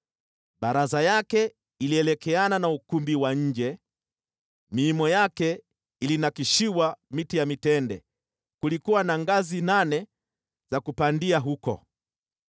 Baraza yake ilielekeana na ukumbi wa nje, miimo yake ilinakshiwa miti ya mitende, kulikuwa na ngazi nane za kupandia huko.